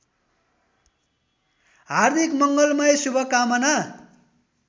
हार्दिक मङ्गलमय शुभकामना